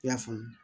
I y'a faamu